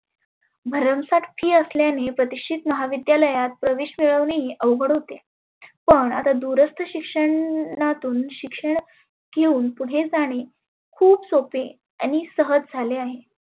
भरम साठ fees आसल्याने प्रतिष्टीत महाविद्यालयात प्रवेश मिळवने ही अवघड होते. पण आता दुरस्त शिक्षणातुन शिक्षण येऊन पुढे जाने. खुप सोपे आणि सहज झाले आहे.